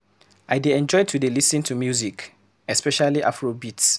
I dey enjoy to dey lis ten to music, especially afro beats